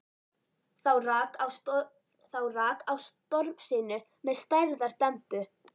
Þá rak á stormhrinu með stærðar dembu.